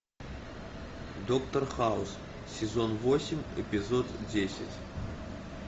доктор хаус сезон восемь эпизод десять